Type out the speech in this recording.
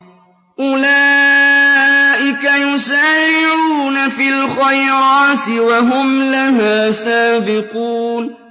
أُولَٰئِكَ يُسَارِعُونَ فِي الْخَيْرَاتِ وَهُمْ لَهَا سَابِقُونَ